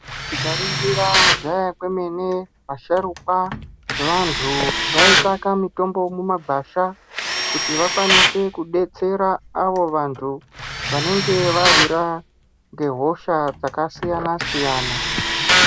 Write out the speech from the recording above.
Tikaringira kudhaya kwemene, vasharukwa vantu vaitsvaka mitombo kumagwasha kuti vakwanise kudetsera avo vantu vanenge vawirwa ngehosha dzakasiyana-siyana.